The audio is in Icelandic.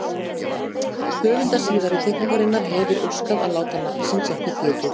Höfundur síðari teikningarinnar hefir óskað að láta nafns síns ekki getið.